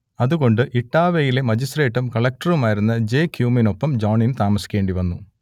അതുകൊണ്ട് ഇട്ടാവയിലെ മജിസ്ട്രേറ്റും കളക്റ്ററുമായിരുന്ന ജെ ക്യുമിനൊപ്പം ജോണിന് താമസിക്കേണ്ടി വന്നു